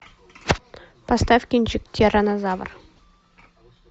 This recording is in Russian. поставь кинчик тираннозавр